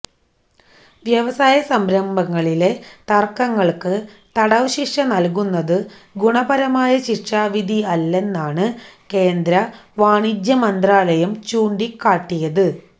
വ്യവസായ സംരംഭങ്ങളിലെ തർക്കങ്ങൾക്ക് തടവുശിക്ഷ നൽകുന്നത് ഗുണപരമായ ശിക്ഷാവിധി അല്ലെന്നാണ് കേന്ദ്ര വാണിജ്യമന്ത്രാലയം ചൂണ്ടിക്കാട്ടിയത്